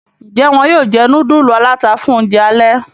Njé wón yóò jé nudulu alata fún oúnjẹ alè?